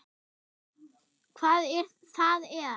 Hvað það er?